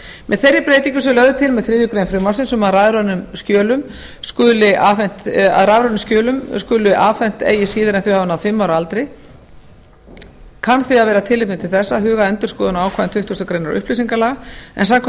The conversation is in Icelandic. með þeirri breytingu sem lögð er til með þriðju greinar frumvarpsins um að rafræn skjöl skuli afhent eigi síðar en þau hafa náð fimm ára aldri kann því að vera tilefni til þess að huga að endurskoðun á ákvæðum tuttugustu greinar upplýsingalaga en samkvæmt